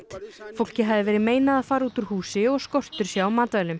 fólki hafi verið meinað að fara út úr húsi og skortur sé á matvælum